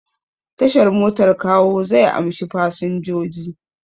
Tashar motar Kawo zai amshi fasinjoji.